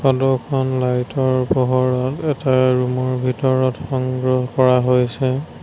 Photo খন light ৰ পোহৰত এটা ৰুম ৰ ভিতৰত সংগ্ৰহ কৰা হৈছে।